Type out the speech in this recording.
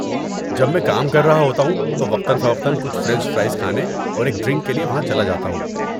جب میں کام کر رہا ہوتا ہوں تو وقتا فوقتا کچھ فرنچ فرائز کھانے اور ایک ڈرنک کے لیے وہاں چلا جاتا ہوں۔